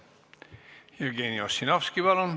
Jevgeni Ossinovski, palun!